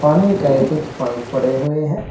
पानी का ए कुछ पाइप पड़े हुए हैं।